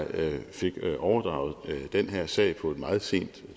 fik overdraget den her sag på et meget sent